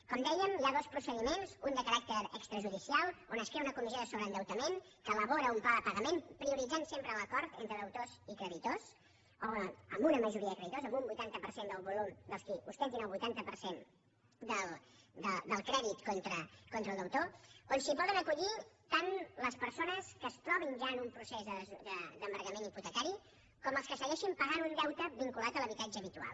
com dèiem hi ha dos procediments un de caràcter extrajudicial on es crea una comissió de sobreendeutament que elabora un pla de pagament que prioritza sempre l’acord entre deutors i creditors amb una majoria de creditors amb un vuitanta per cent del volum dels qui ostentin el vuitanta per cent del crèdit contra el deutor al cual es poden acollir tant les persones que es trobin ja en un procés d’embargament hipotecari com els que segueixin pagant un deute vinculat a l’habitatge habitual